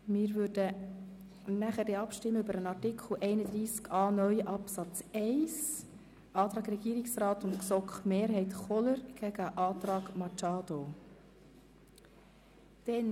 Wir werden nachher über Artikel 31a (neu) Absatz 1 abstimmen, indem wir den Antrag Regierungsrat und GSoK-Mehrheit dem Antrag Machado gegenüberstellen.